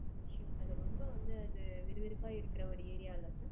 அசோக் நகர் ரொம்ப வந்து அது ஒரு விறுவிறுப்பா இருக்குற ஒரு ஏரியா இல்ல sir